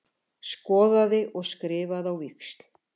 Skoðaði og skrifaði á víxl.